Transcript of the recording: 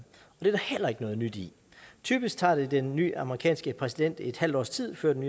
det heller ikke noget nyt i typisk tager det den nye amerikanske præsident et halvt års tid før den